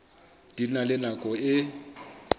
di na le nako e